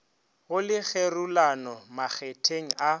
go le kgerulano makgetheng a